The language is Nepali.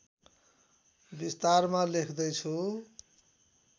विस्तारमा लेख्दै छु